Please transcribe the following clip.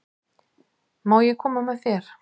Má ég koma með þér?